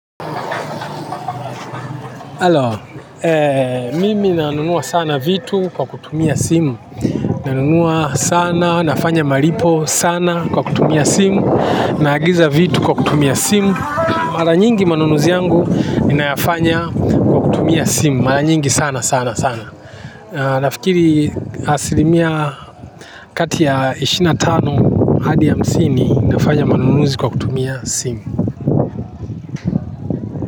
Halo, mimi nanunua sana vitu kwa kutumia simu, nanunua sana, nafanya malipo sana kwa kutumia simu, naagiza vitu kwa kutumia simu, mara nyingi manunuzi yangu nina yafanya kwa kutumia simu, mara nyingi sana sana sana. Nafikiri asilimia katia ya ishirini na tano hadi hamsini nafanya manunuzi kwa kutumia simu.